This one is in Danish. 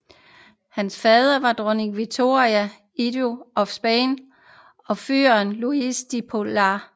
Hans faddere var Dronning Victoria Eugenia af Spanien og Fyrst Louis de Polignac